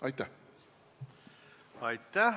Aitäh!